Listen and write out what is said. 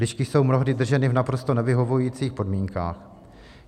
Lišky jsou mnohdy drženy v naprosto nevyhovujících podmínkách.